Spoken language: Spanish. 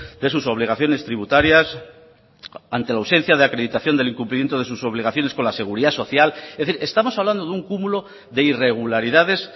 de sus obligaciones tributarias ante la ausencia de acreditación del incumplimiento de sus obligaciones con la seguridad social es decir estamos hablando de un cúmulo de irregularidades